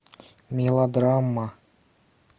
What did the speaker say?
мелодрама